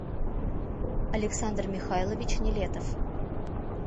александр михайлович нелетов